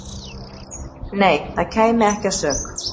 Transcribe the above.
"""Nei, það kæmi ekki að sök."""